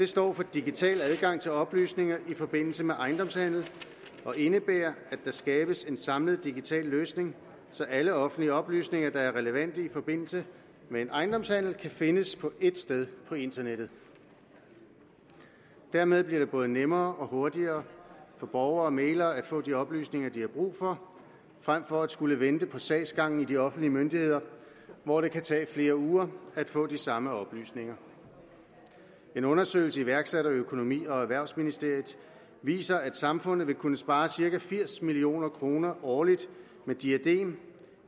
står for digital adgang til oplysninger i forbindelse med ejendomshandel og indebærer at der skabes en samlet digital løsning så alle offentlige oplysninger der er relevante i forbindelse med en ejendomshandel kan findes ét sted på internettet dermed bliver det både nemmere og hurtigere for borgere og mæglere at få de oplysninger de har brug for frem for at skulle vente på sagsgangen i de offentlige myndigheder hvor det kan tage flere uger at få de samme oplysninger en undersøgelse iværksat af økonomi og erhvervsministeriet viser at samfundet vil kunne spare cirka firs million kroner årligt med diadem